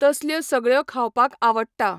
तसल्यो सगळ्यो खावपाक आवडटा.